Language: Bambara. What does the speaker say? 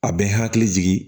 A bɛ n hakili jigi